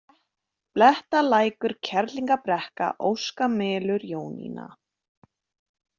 Blettalækur, Kerlingarbrekka, Óskamelur, Jónína